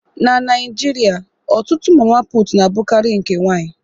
Na Naijiria, ọtụtụ mama putu na-abụkarị nke nwanyị